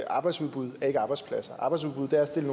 arbejdsudbud er ikke arbejdspladser arbejdsudbud er at stille